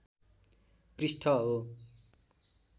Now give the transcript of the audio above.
पृष्ठ हो